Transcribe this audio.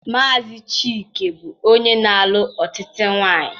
Maazi Chike bụ onye na-alụ ọtụtụ nwanyị.